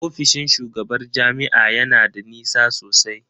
Ofishin shugabar jami'a ya na da nisa sosai.